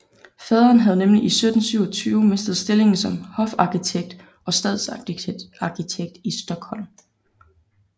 Faderen havde nemlig i 1727 mistet stillingen som hofarkitekt og stadsarkitekt i Stockholm